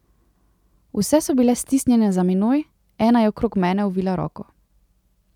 Vse so bile stisnjene za menoj, ena je okrog mene ovila roko.